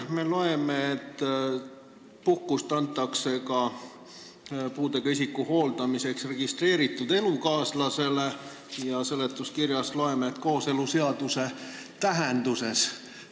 Me loeme siit, et puhkust antakse puudega isiku hooldamiseks ka registreeritud elukaaslasele, ja seletuskirjast loeme, et registreeritud elukaaslasele kooseluseaduse tähenduses.